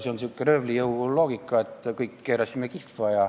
See on selline röövlijõugu loogika, et keerasime kõik kihva.